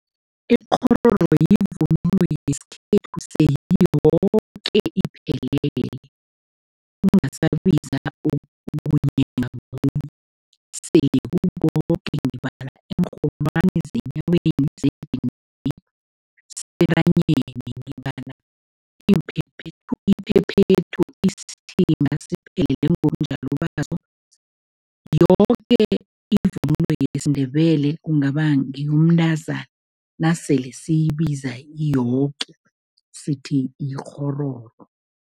Ikghororo yivunulo yesikhethu seyiyoke iphelele, ungasabiza okhunye sekukoke. Ngibala iinrholwani zenyaweni, zedinini, sentanyeni, ngibala iimphephethu, iphephethu, isithimba siphelele ngobunjalo baso, yoke ivunulo yesiNdebele, kungaba ngeyomntazana, nasele siyibiza iyoke sithi yikghororo.